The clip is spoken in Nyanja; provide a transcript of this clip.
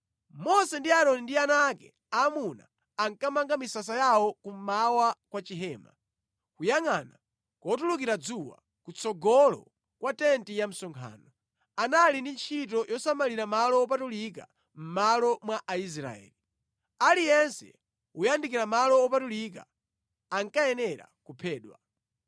Mose ndi Aaroni ndi ana ake aamuna ankamanga misasa yawo kummawa kwa chihema, kuyangʼana kotulukira dzuwa, kutsogolo kwa tenti ya msonkhano. Anali ndi ntchito yosamalira malo wopatulika mʼmalo mwa Aisraeli. Aliyense woyandikira malo wopatulika ankayenera kuphedwa.